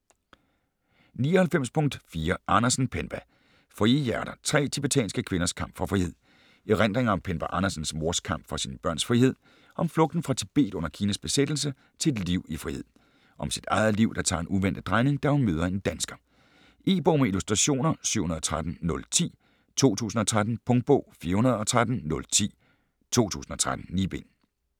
99.4 Andersen, Penpa Frie hjerter: tre tibetanske kvinders kamp for frihed Erindringer om Penpa Andersens mors kamp for sine børns fremtid - om flugten fra Tibet under Kinas besættelse til et liv i frihed. Om sit eget liv, der tager en uventet drejning, da hun møder en dansker. E-bog med illustrationer 713010 2013. Punktbog 413010 2013. 9 bind.